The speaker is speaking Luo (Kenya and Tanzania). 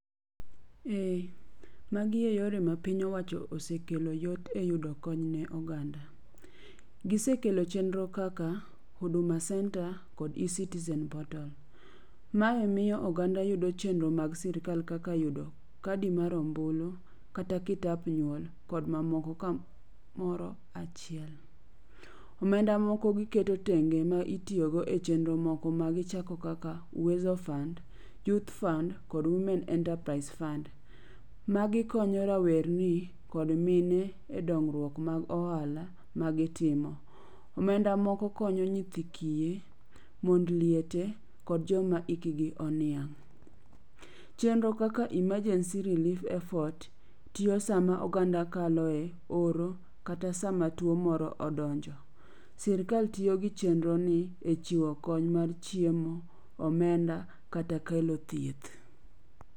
Ee magi eyore ma piny owacho osekelo yot eyudo kony ne oganda. Gisekelo chenro kaka Huduma Centre kod eCitizen portal. Mae miyo oganda yudo chenro mag sirkal kaka yudo kadi mar ombulu kata kitap nyuol kod mamoko kamoro achiel. Omenda moko giketo tenge ma itiyogo e chenro moko magichako kaka Uweso Fund, Youth Fund kod Women enterprise fund. Magi konyo rawerni kod mine e dongruok mag ohala magitimo. Omenda moko konyo nyithi kiye, mond liete kod joma hikgi oniang'. Chenro kaka emergency relief effort tiyo sama oganda kalo e oro kata sama tuo moro odonjo. Sirkal tiyo gi chenroni e chiwo kony mar chiemo, omenda kata kelo thieth omenda